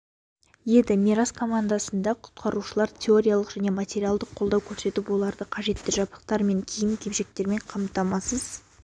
еді мирас командасына құтқарушылар теориялық және материалдық қолдау көрсетіп оларды қажетті жабдықтар мен киім-кешектермен қамтамасыз